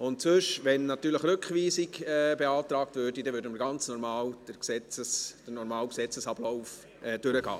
Ansonsten, wenn Rückweisung beantragt würde, würden wir natürlich den ganz normalen Gesetzesablauf durchgehen.